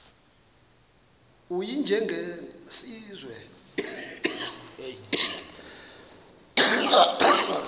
u y njengesiwezi